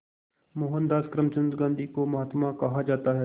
मोहनदास करमचंद गांधी को महात्मा कहा जाता है